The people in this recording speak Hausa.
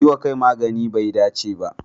Yi wa kai maganin bai dace ba.